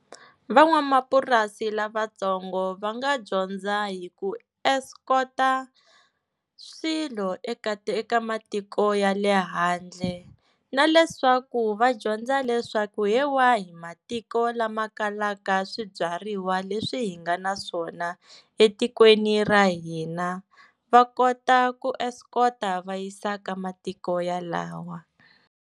Van'wamapurasi lavatsongo va nga dyondza hi ku escort-a swilo eka eka ti eka matiko ya le handle, na leswaku va dyondza leswaku hi wahi matiko lama kalaka swibyariwa leswi hi nga na swona etikweni ra hina va kota ku escort-a va yisa ka matiko ya lawa.